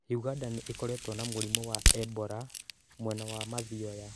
ũganda nĩ ĩkoretwo na mũrimũ wa Ebola mwena wa mathioya